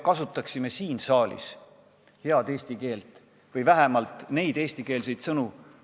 Teiseks, ka meie siin saalis peaksime kasutama head eesti keelt või vähemalt eestikeelseid sõnu.